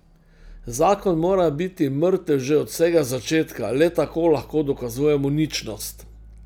Zakon mora biti mrtev že od vsega začetka, le tako lahko dokazujemo ničnost.